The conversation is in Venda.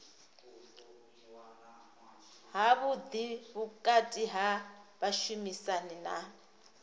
havhuḓi vhukati ha vhashumisani na